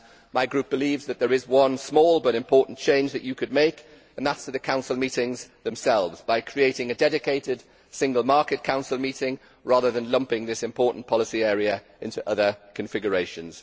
My group believes that there is one small but important change that you could make and that is to the Council meetings themselves, by creating a dedicated single market Council meeting rather than lumping this important policy area into other configurations.